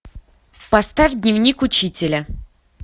поставь дневник учителя